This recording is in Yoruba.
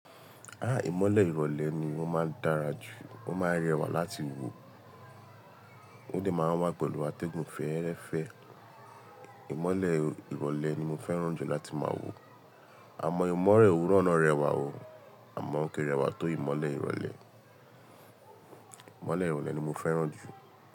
Ìmọ́lẹ̀ ìrọ̀lẹ́ ni ọ́ máa ń dára jù, wọ́n máa ń rẹwà láti wò, ó de máa ń wá pẹ̀lú atẹ́gùn fẹ́ẹ́rẹ́fẹ́. Ìmọ́lẹ̀ ìrọ̀lẹ́ ni mo fẹ́ràn jù láti máa wò. Àmọ́ ìmọ́le òwúrọ̀ náà rẹwà o, àmọ́ ko rẹwà tó ìmọ́lẹ̀ ìrọ̀lẹ́. Ìmọ́lẹ̀ ìrọ̀lẹ́ ni mo fẹ́ràn jù.